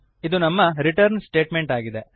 ಇದು ನಮ್ಮ return statement ಆಗಿದೆ